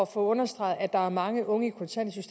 få understreget at der er mange unge